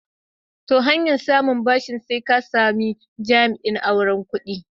To, hanyar samun ɓashin sai ka sami jami'in auron kuɗi.